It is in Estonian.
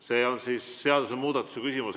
See on siis seadusemuudatuse küsimus.